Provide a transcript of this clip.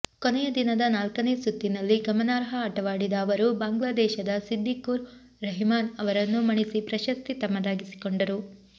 ಕೊನೆಯ ದಿನದ ನಾಲ್ಕನೇ ಸುತ್ತಿನಲ್ಲಿ ಗಮನಾರ್ಹ ಆಟವಾಡಿದ ಅವರು ಬಾಂಗ್ಲಾದೇಶದ ಸಿದ್ದಿಕುರ್ ರಹಿಮಾನ್ ಅವರನ್ನು ಮಣಿಸಿ ಪ್ರಶಸ್ತಿ ತಮ್ಮದಾಗಿಸಿಕೊಂಡರು